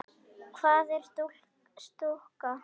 Hvað er stúka?